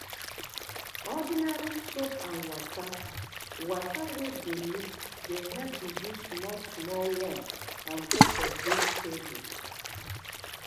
ordinary soap and water water wey dey mix dey help reduce small small worm on top vegetables